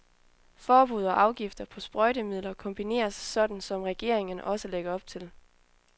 Forbud og afgifter på sprøjtemidler kombineres, sådan som regeringen også lægger op til.